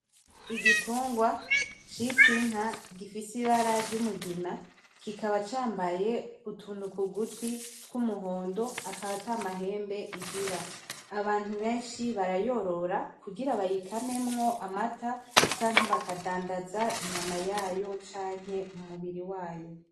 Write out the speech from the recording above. Igitungwa citwa inka gifise ibara ry’umugina, kikaba cambaye utuntu ku gutwi tw’umuhondo , akaba ata mahembe igira. Abantu benshi barayorora kugira bayikamemwo amata, canke bakadandaza inyama yayo canke umubiri wayo.